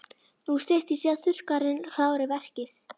Nú styttist í að þurrkarinn klári verkið.